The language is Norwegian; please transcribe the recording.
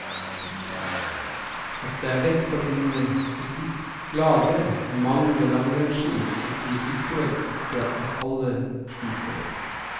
At det er lett å finne butikklagre med mange langrennsski, betyr likevel ikke at alle sliter.